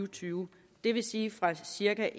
tyve det vil sige fra cirka